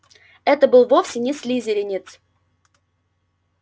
это был вовсе не слизеринец